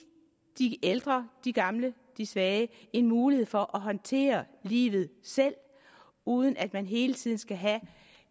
de ældre de gamle de svage en mulighed for at håndtere livet selv uden at man hele tiden skal have